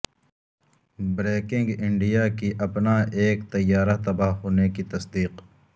breaking India کی اپنا ایک طیارہ تباہ ہونے کی تصدیق